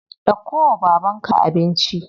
Dauko wa babanka abinci.